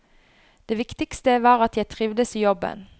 Det viktigste var at jeg trivdes i jobben.